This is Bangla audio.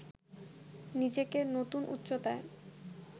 নিজেকে নতুন উচ্চতায়